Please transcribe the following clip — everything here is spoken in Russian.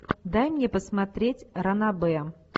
дай мне посмотреть ранобэ